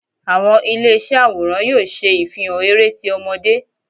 Awọn ile iṣẹ aworan yóò ṣe ifihàn eré tí ọmọde